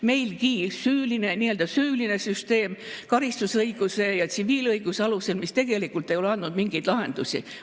Meil on nii-öelda süüline süsteem karistusõiguse ja tsiviilõiguse alusel, mis tegelikult ei ole andnud mingeid lahendusi.